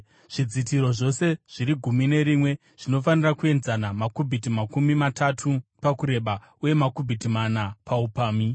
Zvidzitiro zvose zviri gumi nerimwe zvinofanira kuenzana, makubhiti makumi matatu pakureba uye makubhiti mana paupamhi.